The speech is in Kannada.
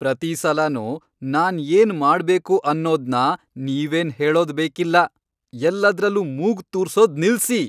ಪ್ರತೀ ಸಲನೂ ನಾನ್ ಏನ್ ಮಾಡ್ಬೇಕು ಅನ್ನೋದ್ನ ನೀವೇನ್ ಹೇಳೋದ್ ಬೇಕಿಲ್ಲ. ಎಲ್ಲದ್ರಲ್ಲೂ ಮೂಗ್ ತೂರ್ಸೋದ್ ನಿಲ್ಸಿ.